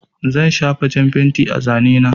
Zan shafa jan fenti a zane na.